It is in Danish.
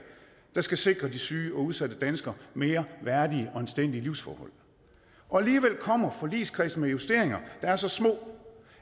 der skal sikre de syge og udsatte danskere mere værdige og anstændige livsforhold og alligevel kommer forligskredsen med justeringer der er så små